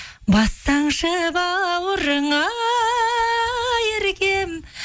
бассаңшы бауырыңа еркем